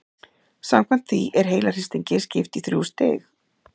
Samkvæmt því er heilahristingi skipt í þrjú stig.